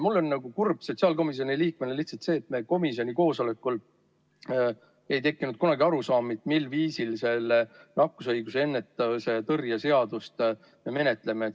Mul on kurb sotsiaalkomisjoni liikmena lihtsalt sellepärast, et meil komisjoni koosolekul ei tekkinud kunagi arusaama, mil viisil me seda nakkushaiguste ennetamise ja tõrje seadust menetleme.